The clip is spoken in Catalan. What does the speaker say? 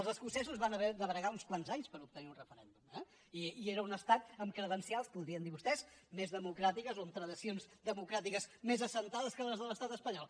els escocesos van haver de bregar uns quants anys per obtenir un referèndum eh i era un estat amb credencials podrien dir vostès més democràtiques o amb tradicions democràtiques més assentades que les de l’estat espanyol